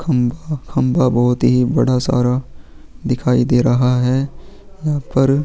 खम्बा खम्बा भोत ही बड़ा सारा दिखाई दे रहा है उअर --